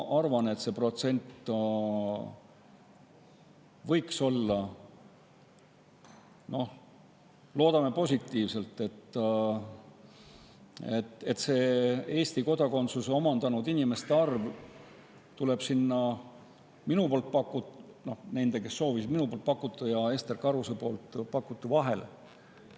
Aga loodame, et Eesti kodakondsuse omandanud inimeste arv tuleb sinna minu pakutu – kui palju on neid, kes Eesti kodakondsust sooviksid – ja Ester Karuse pakutu vahele.